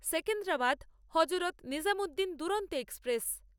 Secunderabad Hazrat Nizamuddin Duronto express